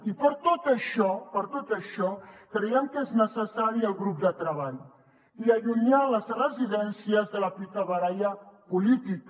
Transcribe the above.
i per tot això creiem que és necessari el grup de treball i allunyar les residències de la picabaralla política